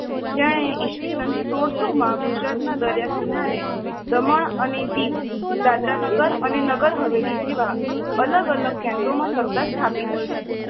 જેણે ઇસવિશન સોળસો ગુજરાતના દરીયાકિનારે દમણ અને દીવ, દાદરા અને નગરહવેલી જેવા અલગ અલગ કેન્દ્રોમાં સત્તા સ્થાપી હતી.